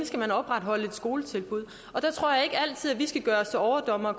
skal opretholde et skoletilbud og der tror jeg ikke altid vi skal gøre os til overdommere